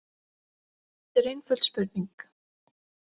Þetta er einföld spurning.